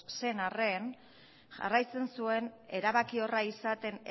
zen arren jarraitzen zuen erabakiorra izaten